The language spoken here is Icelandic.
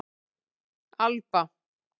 Alba